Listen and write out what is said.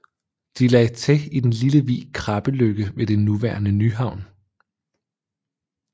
De lagde til i den lille vig Krabbeløkke ved det nuværende Nyhavn